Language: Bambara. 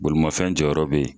Bolimafɛn jɔyɔrɔ be yen